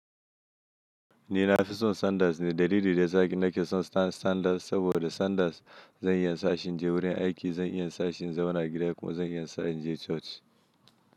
Ni na fi son Sanders ne. Dalilin da ya sa ni nake son Sanders saboda Sanders zai iya sa shi je wurin aiki, zai iya sa shi ya zauna gida kuma zai iya sa shi ya je coci.